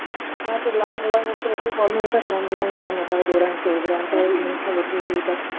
हा ते लहान मुलांमध्ये खुप प्रोब्लेम येत आहेत लहान मुलांना डोळांच वगेरे प्रोब्लेम येतात